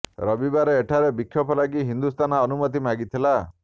ରବିବାର ଏଠାରେ ବିକ୍ଷୋଭ ଲାଗି ହିନ୍ଦୁ ସେନା ଅନୁମତି ମାଗିଥିଲା